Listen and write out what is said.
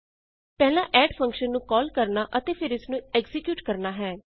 ਪਹਿਲਾਂ ਅੱਡ ਫੰਕਸ਼ਨ ਨੂੰ ਕਾਲ ਕਰਨਾ ਅਤੇ ਫੇਰ ਇਸਨੂੰ ਐਕਜ਼ੀਕਿਯੂਟ ਕਰਨਾ ਹੈ